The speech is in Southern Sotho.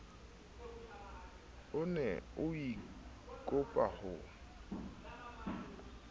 o ne o ikopa ho